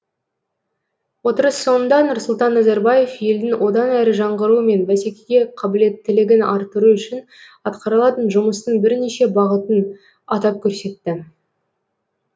отырыс соңында нұрсұлтан назарбаев елдің одан әрі жаңғыруы мен бәсекеге қабілеттілігін арттыру үшін атқарылатын жұмыстың бірнеше бағытын атап көрсетті